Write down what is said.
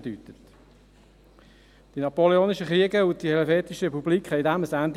Die Napoleonischen Kriege und die Helvetische Republik setzten dem ein Ende.